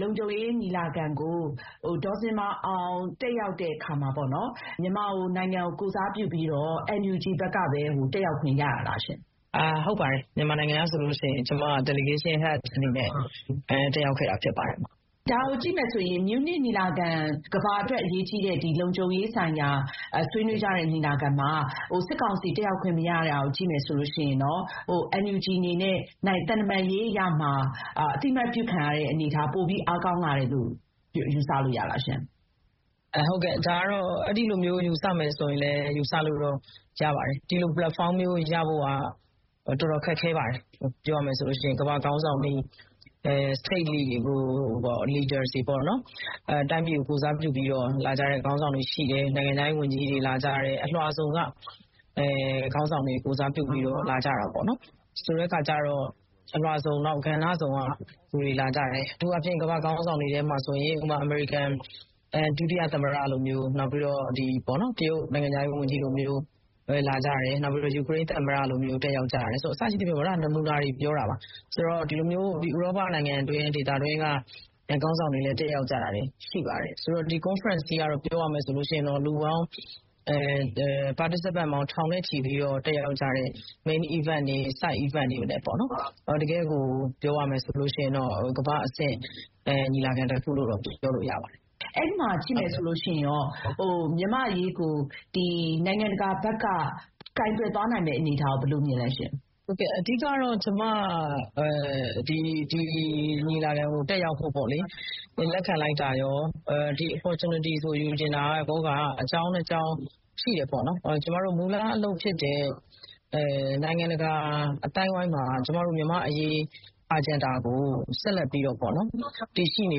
လုံခြုံရေးညီလာခံကို ဒေါ်ဇင်မာအောင် တက်ရောက်တဲ့အခါမှာ မြန်မာနိုင်ငံကိုကိုယ်စားပြုပြီးတော့ NUG ဘက်ကပဲ တက်ရောက်ခွင့်ရတာလားရှင့်။ ဟုတ်ပါတယ်။ မြန်မာနိုင်ငံကဆိုလို့ရှိရင် ကျမ delegation head အနေနဲ့ တက်ရောက်ခဲ့တာဖြစ်ပါတယ်။ ဒါကိုကြည့်မယ်ဆိုရင် ကမ္ဘာအတွက်အရေးကြီးတဲ့ လုံခြုံရေးဆိုင်ရာဆွေးနွေးကြတဲ့ မြူးနစ်ညီလာခံမှာ စစ်ကောင်စီတက်ရောက်ခွင့်မရတာကို ကြည့်မယ်ဆိုရင်တော့ NUG အနေနဲ့ သံတမန်ရေးအရမှာ အသိအမှတ်ပြုခံရတဲ့အနေအထား ပိုပြီးအားကောင်းလာတယ်လို့ ယူဆလို့ရလားရှင့်။ အဲဒီလိုယူဆမယ်ဆိုရင်တော့ ယူဆလို့ရပါတယ်။ ဒီလို ပလက်ဖောင်းမျိုးရဖို့က တော်တော်ခက်ခဲပါတယ်။ ပြောရမယ်ဆိုရင် ကမ္ဘာ့နိုင်ငံအသီးသီးက ခေါင်းဆောင်တွေ၊ တိုင်းပြည်ကို ကိုယ်စားပြုပြီး လာကြတဲ့ခေါင်းဆောင်တွဗ ရှိတယ်။ နိုင်ငံခြားရေးဝန်ကြီးတွေ လာကြတယ်။ အလွှာစုံက ခေါင်းဆောင်တွေကို ကိုယ်စားပြုပြီးတော့ လာကြတာပေါ့။ အထူးအားဖြင့် ကမ္ဘာ့ခေါင်းဆောင်တွေထဲမှာဆိုရင် အမေရိကန် ဒုတိယသမ္မတလိုမျိုး၊ နောက်ပြီးတော့ တရုတ်နိုင်ငံခြားရေးဝန်ကြီးလိုမျိုး၊ နောက်ပြီး ယူကရိန်းသမ္မတ- အစရှိသဖြင့် နမူနာတွေပြောတာပါ။ ဒီလိုမျိုး ဥရောပနိုင်ငံတွင်း၊ ဒေသတွင်းကခေါင်းဆောင်တွေလည်း တက်ရောက်ကြတာ ရှိပါတယ်။ ဆိုတော့ ဒီ ကွန်ဖရင့်စ်ကြီးက ပြောရမယ်ဆိုလို့ရှိရင် လူပေါင်း ထောင်နဲ့ချီပြီးတော့ တက်ရောက်ကြတဲ့ many events တွေ၊ side events တွေကိုလည်းပေါ့...ပြောရမယ်ဆိုလို့ရှိရင် ကမ္ဘာ့အဆင့် ညီလာခံလို့တော့ ပြောလို့ရပါတယ်။" အဲဒီမှာကြည့်မယ်ဆိုလို့ရှိရင်ကော မြန်မာ့အရေးကို နိုင်ငံတကာဘက်က ကိုင်တွယ်သွားနိုင်မယ့်အနေအထားကိုရော ဘယ်လိုမြင်လဲရှင့်။ ဟုတ်ကဲ့၊ အဓိက-ကတော့ ကျမ ဒီညီလာခံကိုတက်ရောက်ဖို့လက်ခံလိုက်တာရော၊ ဒီ opportunities ကို ယူချင်တာကောက အကြောင်းနှစ်ကြောင်းရှိတယ်ပေါ့နော်။ ကျမတို့ မူလအလုပ်ဖြစ်တဲ့ နိုင်ငံတကာအသိုင်းအဝိုင်းမှာ ကျမတို့ မြန်မာ့အရေး agenda ကို ဆက်လက်ပြီး တည်ရှိနေ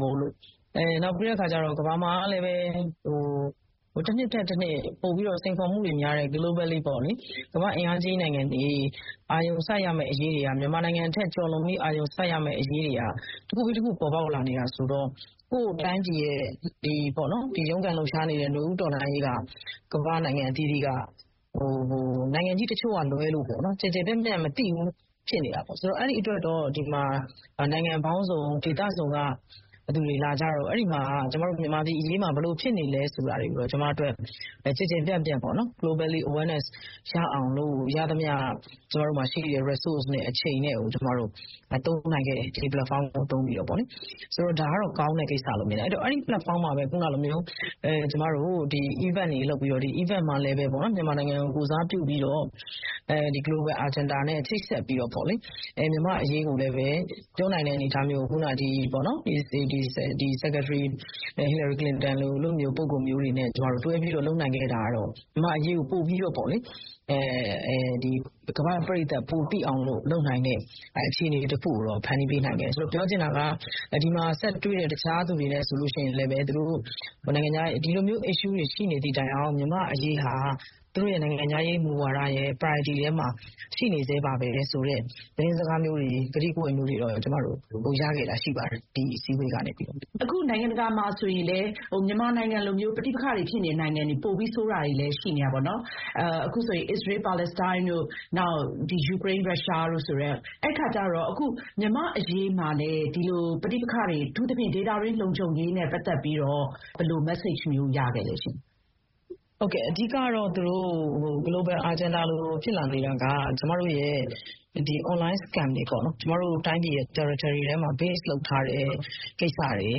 ဖို့။ နောက်ပြီးတော့ ကမ္ဘာမှာကလည်း တနှစ်ထက်တနှစ် ပိုပြီးတော့ စိန်ခေါ်မှုတွေများတဲ့ globally ပေါ့လေ၊ ကမ္ဘာ့အင်အားကြီးနိုင်ငံတွေအတွက် မြန်မာနိုင်ငံထက် ကျော်လွန်ပြီး အာရုံစိုက်ရမယ့်အရေးတွေက တခုပြီးတခု ပေါ်ပေါက်လာနေတာဆိုတော့ ကိုယ့်တိုင်းပြည်ရဲ့ ရုန်းကန်လှုပ်ရှားနေတဲ့ နွေဦးတော်လှန်ရေးက ကမ္ဘာ့နိုင်ငံအသီးသီးက နိုင်ငံကြီးတချို့ကလွဲလို့ ကျယ်ကျယ်ပြန့်ပြန့်မသိဘူးဖြစ်နေတာပေါ့။ အဲဒီအတွက် နိုင်ငံပေါင်းစုံ၊ ဒေသစုံက လူတွေလာကြတော့ ကျမတို့ မြန်မာပြည်အရေးမှာ ဘယ်လိုတွေဖြစ်နေလဲဆိုတာတွေကိုတော့ ကျမအတွက် ကျယ်ကျယ်ပြန့်ပြန့် globally awareness ရအောင်လို့ ရသမျှ ကျမတို့မှာရှိတဲ့ resource နဲ့ အချိန်ကို သုံးနိုင်ခဲ့တယ်။ ဒီပလက်ဖောင်းကိုသုံးပြီးတော့ပေါ့လေ။..ဆိုတော့ ဒါကတော့ ကောင်းတဲ့ကိစ္စလို့မြင်တယ်။ အဲဒီတော့ အဲဒီပလက်ဖောင်းမှာပဲ ကျမတို့ event တွေလုပ်ပြီး ဒီ event မှာလည်းပဲ မြန်မာနိုင်ငံကို ကိုယ်စားပြုပြီးတော့ global agenda နဲ့ချိတ်ဆက်ပြီးတော့ မြန်မာ့အရေးကိုလည်းပဲ တွန်းနိုင်တဲ့အနေအထားမျိုးကို အခုနက စက္ကထရီ ဟီလာရီကလင်တန်တို့လို ပုဂ္ဂိုလ်မျိုးတွေနဲ့ တွဲပြီး လုပ်နိုင်ခဲ့တာကတော့ မြန်မာ့အရေးကို ကမ္ဘာ့ပရိသတ် ပိုသိအောင် လုပ်နိုင်တဲ့အခြေအနေတခုကို ဖန်တီးပေးနိုင်ခဲ့တယ်။ ပြောချင်တာက ဒီမှာ ဆက်တွေ့တဲ့ တခြားသူတွေနဲ့ဆိုလို့ရှိရင်လည်းပဲ ဒီလိုမျိုး issues တွေ ရှိနေသည့်တိုင်အောင် မြန်မာ့အရေးဟာ သူတို့ရဲ့နိုင်ငံခြားရေးမူဝါဒရဲ့ priority ထဲမှာ ရှိနေဆဲပဲဆိုတဲ့ သတင်းစကားမျိုးတွေ၊ ကတိကဝတ်မျိုးတွေကိုတော့ ရခဲ့တာရှိပါတယ်။ ဒီအစည်းအဝေးကနေပြီးတော့။" အခု နိုင်ငံတကာမှာဆိုရင်လည်း မြန်မာနိုင်ငံလိုမျိုး ပဋိပက္ခတွေဖြစ်နေတဲ့နိုင်ငံတွေ၊ ပိုပြီးဆိုးတာတွေလည်း ရှိနေတာပေါ့နော်။ အခုဆိုရင် အစ္စရေး-ပါလက်စတိုင်းတို့၊ နောက် ယူကရိန်း-ရုရှားတို့...၊ အဲဒီအခါကျတော့ မြန်မာ့အရေးမှာလည်း ဒီလို ပဋိပက္ခတွေ၊ အထူးသဖြင့် ဒေသတွင်းလုံခြုံရေးနဲ့ပတ်သက်ပြီးတော့ ဘယ်လို message မျိုး ရခဲ့လဲရှင့်။ ဟုတ်ကဲ့၊ အဓိက-ကတော့ global agenda လိုဖြစ်လာနေတာက online scam တွေပေါ့နော်။ ကျမတို့တိုင်းပြည်ထဲမှာ base လုပ်ထားတဲ့ကိစ္စတွေ၊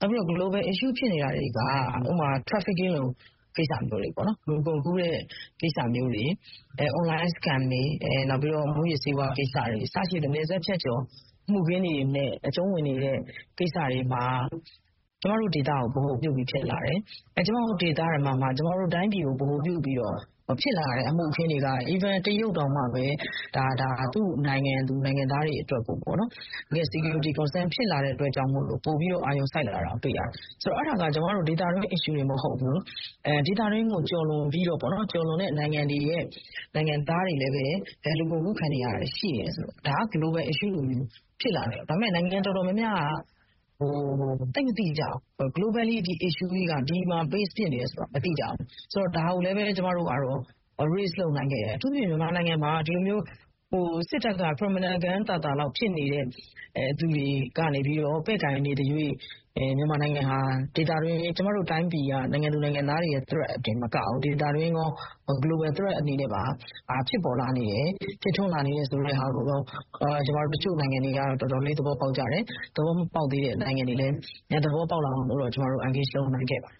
နောက်ပြီးတော့ global issue ဖြစ်နေတာတွေက ဥပမာ- trafficking လိုကိစ္စမျိုးတွေပေါ့နော်။ လူကုန်ကူးတဲ့ကိစ္စမျိုးတွေ။ online scam တွေ၊ နောက်ပြီးတော့ မူးယစ်ဆေးဝါးကိစ္စတွေ...အစရှိသဖြင့်နယ်စပ်ဖြတ်ကျော် မှုခင်းတွေနဲ့ အကျုံးဝင်နေတဲ့ကိစ္စတွေမှာ ကျမတို့ဒေသကို ဗဟိုပြုပြီးဖြစ်လာတယ်။ ကျမတို့ဒေသထဲမှာမှ ကျမတို့တိုင်းပြည်ကို ဗဟိုပြုပြီးတော့ ဖြစ်လာတဲ့အမှုအခင်းတွေက တရုတ်တောင်မှပဲ သူ့နိုင်ငံသူ နိုင်ငံသားတွေအတွက် security concern ဖြစ်လာတဲ့အတွက် ပိုပြီးတော့ အာရုံစိုက်လာတာကို တွေ့ရတယ်။ ဆိုတော့ အဲဒါက ကျမတို့ ဒေသတွင်း issue တင်မဟုတ်ဘူး၊ ဒေသတွင်းကိုကျော်လွန်ပြီးတော့ပေါ့နော်၊ ကျော်လွန်တဲ့နိုင်ငံတွေရဲ့ နိုင်ငံသားတွေလည်းပဲ လူကုန်ကူးခံနေရတာရှိတယ်ဆိုတော့- ဒါက global issue လိုမျိုး ဖြစ်လာတယ်ပေါ့၊ ဒါပေမဲ့ နိုင်ငံတော်တော်များများက သိပ်မသိကြဘူး။ အဲဒီ issue ကြီးက ဒီမှာ base ဖြစ်နေတယ်ဆိုတာကို မသိကြဘူး။...ဆိုတော့ ဒါကိုလည်းပဲ ကျမတို့ကတော့ raise လုပ်နိုင်ခဲ့တယ်။ အထူးသဖြင့် မြန်မာနိုင်ငံမှာ စစ်တပ်က criminal gang သာသာလောက် ဖြစ်နေတဲ့သူတွေကနေပြီးတော့ ပဲ့ကိုင်နေသရွေ့ မြန်မာနိုင်ငံဟာ ကျမတို့တိုင်းပြည်က နိုင်ငံသူနိုင်ငံသားတွေအတွက်သာမကဘူး၊ ဒေသတွင်းကော global threat အနေနဲ့ပါ ဖြစ်ထွန်းလာနေတယ်ဆိုတာကိုတော့ တချို့နိုင်ငံတွေက တော်တော်လေးသဘောပေါက်ကြတယ်။ သဘောမပေါက်သေးတဲ့နိုင်ငံတွေလည်း သဘောပေါက်လာအောင်လို့တော့ ကျမတို့ engage လုပ်နိုင်ခဲ့ပါတယ်